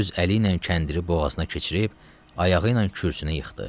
Öz əli ilə kəndiri boğazına keçirib, ayağı ilə kürsünü yıxdı.